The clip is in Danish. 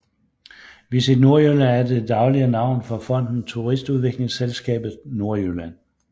VisitNordjylland er det daglige navn for Fonden Turistudviklingsselskabet Nordjylland